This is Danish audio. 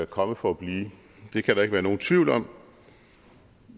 kommet for at blive det kan der ikke være nogen tvivl om